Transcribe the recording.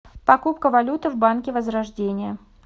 покупка валюты в банке возрождение